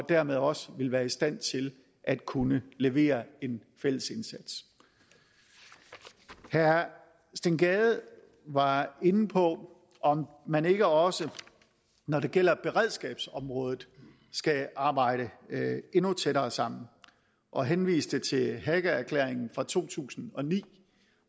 dermed også være i stand til at kunne levere en fælles indsats herre steen gade var inde på om man ikke også når det gælder beredskabsområdet skal arbejde endnu tættere sammen og henviste til hagaerklæringen fra to tusind og ni